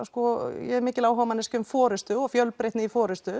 ég er mikil áhugamanneskja um forystu og fjölbreytni í